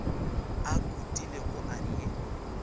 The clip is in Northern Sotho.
a khutilego a re ye